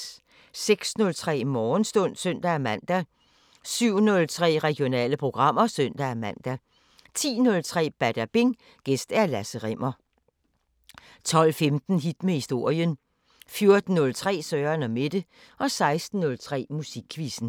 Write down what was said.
06:03: Morgenstund (søn-man) 07:03: Regionale programmer (søn-man) 10:03: Badabing: Gæst Lasse Rimmer 12:15: Hit med historien 14:03: Søren & Mette 16:03: Musikquizzen